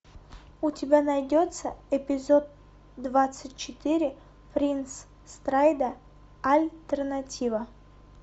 у тебя найдется эпизод двадцать четыре принц страйда альтернатива